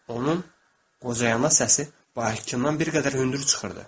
Onun qocayana səsi bakiydən bir qədər hündür çıxırdı.